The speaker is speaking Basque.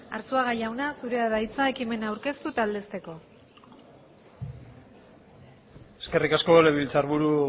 arzuaga jauna zurea da hitza ekimena aurkeztu galdetzeko eskerrik asko legebiltzar buru